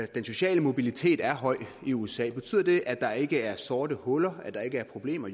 den sociale mobilitet er høj i usa betyder det at der ikke er sorte huller at der ikke er problemer